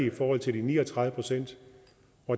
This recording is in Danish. i forhold til de ni og tredive procent